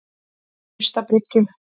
Naustabryggju